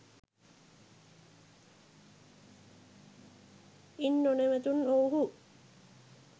ඉන් නොනැවතුනු ඔව්හූ